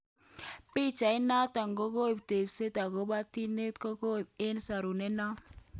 Pichait noto kokokoib tebset okobo kitnekokabit eng sorunet non